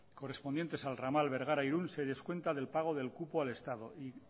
correspondiente al ramal bergara irun se descuenta del pago del cupo al estado y